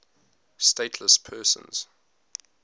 stateless persons